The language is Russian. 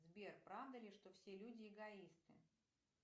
сбер правда ли что все люди эгоисты